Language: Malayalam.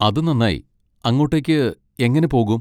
അത് നന്നായി. അങ്ങോട്ടേക്ക് എങ്ങനെ പോകും?